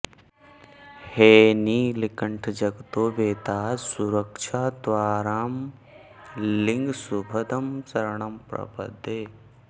हेनीलकण्ठ जगतो विहिता सुरक्षा त्वांरामलिङ्ग शुभदं शरणं प्रपद्ये